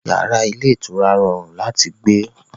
Yàrá ilé ìtura rọrùn láti gbé